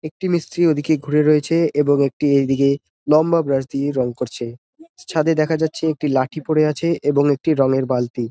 একটি মিস্ত্রি ওদিকে ঘুরে রয়েছে এবং একটি এইদিকে লম্বা ব্রাশ দিয়ে রং করছে ছাদে দেখা যাচ্ছে একটি লাঠি পরে আছে এবং একটি রঙের বালতি।